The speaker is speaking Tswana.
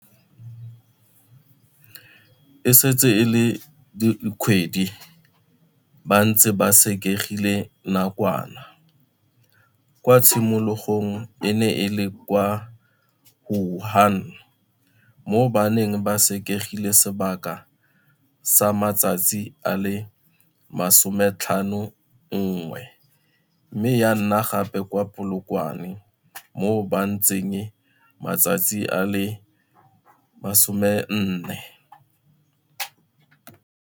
E setse e le dikgwedi ba ntse ba sekegilwe nakwana, kwa tshimologong e ne e le kwa Wuhan mo ba neng ba sekegilwe sebaka sa matsatsi a le 51 mme ya nna gape kwa Polokwane mo ba ntseng matsatsi a le 14.